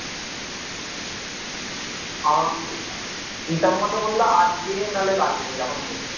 আমাকে হিসাব মতো বলল আজকে নাহলে কালকে এরকমি বলল